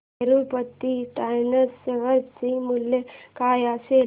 Tirupati tyres share चे मूल्य काय असेल